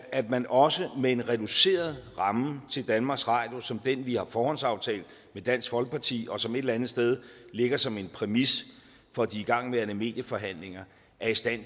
at man også med en reduceret ramme til danmarks radio som den vi har forhåndsaftalt med dansk folkeparti og som et eller andet sted ligger som en præmis for de igangværende medieforhandlinger er i stand